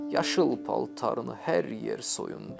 Yaşıl paltarını hər yer soyundu.